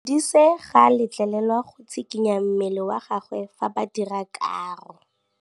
Modise ga a letlelelwa go tshikinya mmele wa gagwe fa ba dira karô.